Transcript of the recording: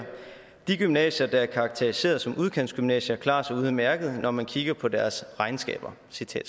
de gymnasier der er karakteriseret som udkantsgymnasier klarer sig udmærket når man kikker på deres regnskaber